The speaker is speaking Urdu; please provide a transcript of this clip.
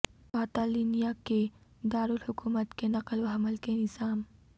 کاطالنیا کے دارالحکومت کے نقل و حمل کے نظام